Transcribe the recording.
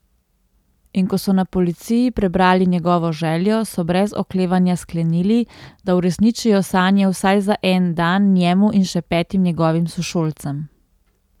In ko so na policiji prebrali njegovo željo, so brez oklevanja sklenili, da uresničijo sanje vsaj za en dan njemu in še petim njegovim sošolcem.